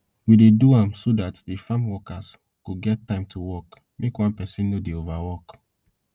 we dey do am so dat de farm workers go get time to work make one person nor dey overwork